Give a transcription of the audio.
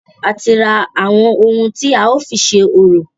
A ti ra àwọn ohun tí a ó fi ṣe orò.